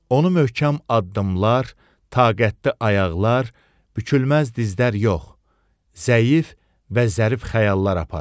Onu möhkəm addımlar, taqətli ayaqlar, bükülməz dizlər yox, zəif və zərif xəyallar aparır.